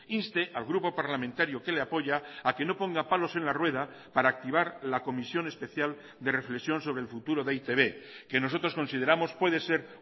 inste al grupo parlamentario que le apoya a que no ponga palos en la rueda para activar la comisión especial de reflexión sobre el futuro de e i te be que nosotros consideramos puede ser